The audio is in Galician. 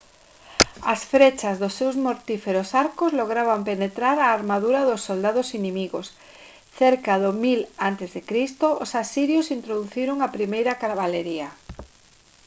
as frechas dos seus mortíferos arcos lograban penetrar a armadura dos soldados inimigos cerca do 1000 a c os asirios introduciron a primeira cabalería